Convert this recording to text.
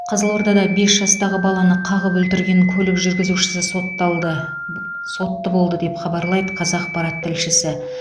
қызылордада бес жастағы баланы қағып өлтірген көлік жүргізушісі сотталды сотты болды деп хабарлайды қазақпарат тілшісі